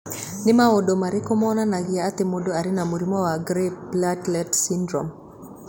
Nĩ maũndũ marĩkũ monanagia atĩ mũndũ arĩ na mũrimũ wa Gray platelet syndrome?